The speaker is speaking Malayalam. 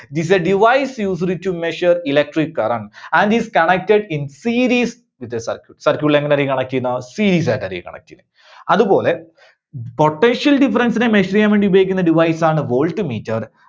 is a device used to measure electric current and is connected in series with a circuit. circuit line ൽ നിന്നൊക്കെ connect ചെയ്യുന്ന series ആയിട്ടായിരിക്കും connect ചെയ്യുന്നേ. അതുപോലെ potential difference നെ measure ചെയ്യാൻവേണ്ടി ഉപയോഗിക്കുന്ന device ആണ് voltmeter